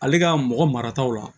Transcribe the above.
Ale ka mɔgɔ marataw la